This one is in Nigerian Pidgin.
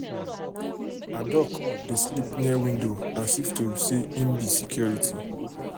her um duck dey sleep near window as if to say em be security.